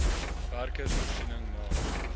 wkrs voorsiening maak